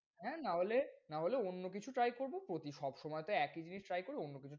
হ্যাঁ না হলে, না হলে অন্য কিছু try করব প্রতি সবসময় তো একই জিনিস try করি অন্য কিছু,